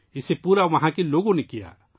اسے وہاں کے لوگوں نے مکمل کیا